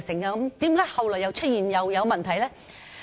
後來為何又出現問題呢？